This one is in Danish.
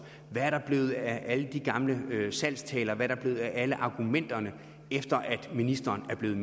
hvad er der blevet af alle de gamle salgstaler hvad er de blevet af alle argumenterne efter at ministeren er blevet